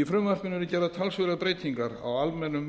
í frumvarpinu eru gerðar talsverðar breytingar á almennum